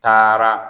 Taara